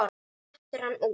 Svo dettur hann út.